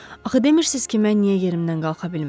Axı demirsiz ki, mən niyə yerimdən qalxa bilmirəm?